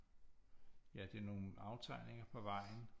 Ja det er nogle aftegninger på vejen